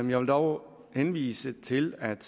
vil dog henvise til at